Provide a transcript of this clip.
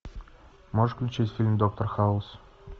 можешь включить фильм доктор хаус